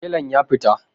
Telan ya fita